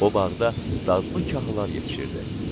O bağda dadlı kahlar yetişirdi.